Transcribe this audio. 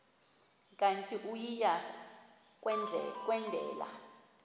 kanti uia kwendela